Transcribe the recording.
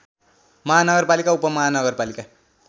महानगरपालिका उपमहानगरपालिका